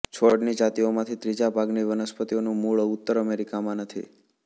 છોડની જાતિઓમાંથી ત્રીજા ભાગની વનસ્પતિઓનું મૂળ ઉત્તર અમેરિકામાં નથી